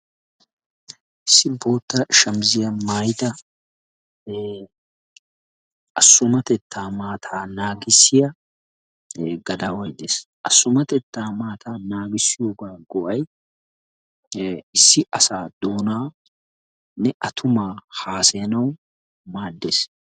issi bootta shamissiya maayida asumatetta naagissiya aaaway dees. asumatetta go'ay issi asaa doonaanne a tumaa haasayanawu maadees.